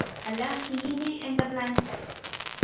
അല്ല ഈ ഇനി എന്താ plan